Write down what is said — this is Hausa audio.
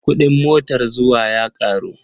Kuɗin motar zuwa ya ƙaru.